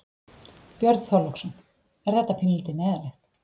Björn Þorláksson: Er þetta pínulítið neyðarlegt?